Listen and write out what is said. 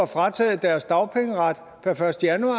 frataget deres dagpengeret per første januar